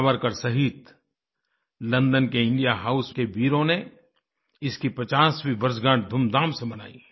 सावरकर सहित लंदन के India house के वीरों ने इसकी 50वीं वर्षगांठ धूमधाम से मनाई